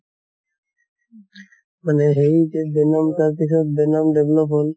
মানে সেই যে venom তাৰ পিছত venom develop হʼল